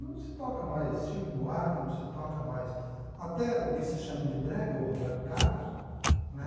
Não se toca mais Chico Buarque, não se toca mais até o que se chama de brega, o Roberto Carlos, né?